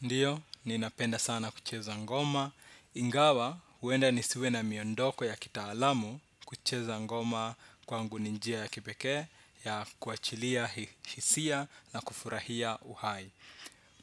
Ndiyo, ninapenda sana kucheza ngoma. Ingawa, huenda nisiwe na miondoko ya kitaalamu kucheza ngoma kwangu ni njia ya kipekee, ya kuachilia hisia na kufurahia uhai